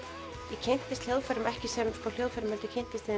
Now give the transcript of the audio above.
ég kynntist hljóðfærum ekki sem hljóðfærum heldur